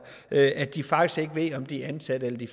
at de faktisk ikke ved om de er ansat eller de